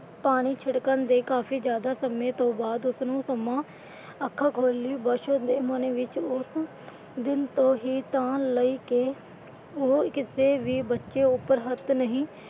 ਪਾਣੀ ਛਿੜਕਣ ਦੇ ਕਾਫੀ ਜਿਆਦਾ ਸਮੇਂ ਤੋਂ ਬਾਅਦ ਉਸਨੇ ਅੱਖਾਂ ਖੋਲ੍ਹੀ। ਬਸੋ ਦੇ ਮਨ ਵਿੱਚ ਉਸ ਦਿਨ ਤੋਂ ਹੀ ਤਾਣ ਲਈ ਕਿ ਉਹ ਕਿਸੇ ਵੀ ਬੱਚੇ ਉੱਪਰ ਹੱਥ ਨਹੀਂ।